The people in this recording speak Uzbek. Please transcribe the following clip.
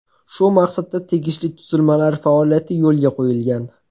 Shu maqsadda tegishli tuzilmalar faoliyati yo‘lga qo‘yilgan.